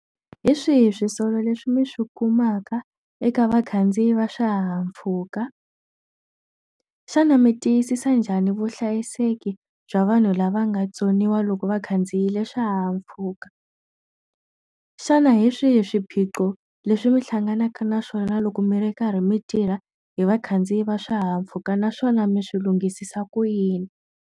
Hi swihi swisolo leswi mi swi kumaka eka vakhandziyi va swihahampfhuka? Xana mi tiyisisa njhani vuhlayiseki bya vanhu lava nga tsoniwa loko va khandziyile swihahampfhuka? Xana hi swihi swiphiqo leswi mi hlanganaka na swona loko mi ri karhi mi tirha hi vakhandziyi va swihahampfhuka naswona mi swi lunghisisa ku yini?